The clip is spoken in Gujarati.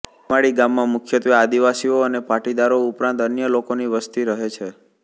સીમાડી ગામમાં મુખ્યત્વે આદિવાસીઓ અને પાટીદારો ઉપરાંત અન્ય લોકોની વસ્તી રહે છે